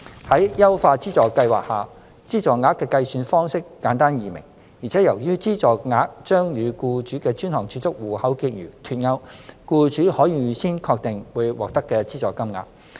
在優化資助計劃下，資助額的計算方式簡單易明，而且由於資助額將與僱主的專項儲蓄戶口結餘脫鈎，僱主可預先確定會獲得的資助金額。